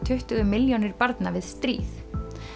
tuttugu milljónir barna við stríð